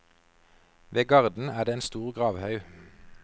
Ved garden er det en stor gravhaug.